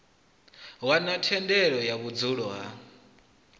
wana thendelo ya vhudzulo ha